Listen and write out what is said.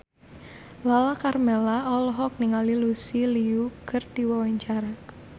Lala Karmela olohok ningali Lucy Liu keur diwawancara